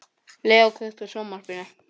Leo, kveiktu á sjónvarpinu.